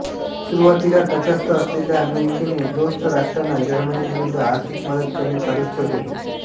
सुरुवातीला तटस्थ असलेल्या अमेरिकेने दोस्त राष्ट्रांना जर्मनीविरुद्ध आर्थिक मदत करणे चालूच ठेवले होते